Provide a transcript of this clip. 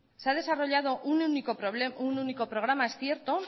se ha desarrollado un único programa es cierto